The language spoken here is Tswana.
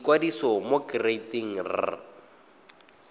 ikwadisa mo go kereite r